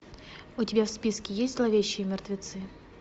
у тебя в списке есть зловещие мертвецы